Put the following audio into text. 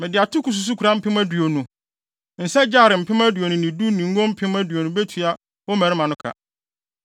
Mede atoko susukoraa mpem aduonu, nsa gyare mpem aduonu ne du ne ngo mpem aduonu betua wo mmarima no ka.”